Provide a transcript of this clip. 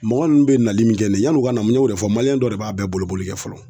Mɔgɔ nunnu bɛ nali min kɛ yanni u ka na, n y'o de fɔ dɔ de b'a bɛɛ boli boli kɛ fɔlɔ.